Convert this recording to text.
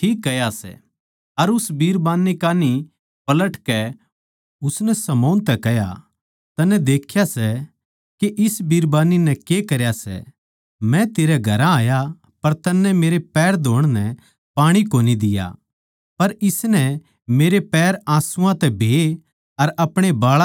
अर उस बिरबान्नी कान्ही पलटकै उसनै शमौन तै कह्या तन्नै देख्या सै नै के इस बिरबान्नी नै के करया सै मै तेरै घरां आया पर तन्नै मेरे पैर धौण नै पाणी भी कोनी दिया पर इसनै मेरे पैर आँसूआं तै भेये अर अपणे बाळां तै पूंजे